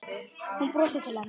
Hún brosir til hennar.